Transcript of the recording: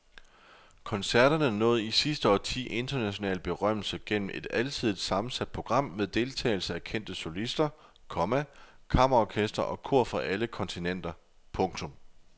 Koncerterne nåede i sidste årti international berømmelse gennem et alsidigt sammensat program med deltagelse af kendte solister, komma kammerorkestre og kor fra alle kontinenter. punktum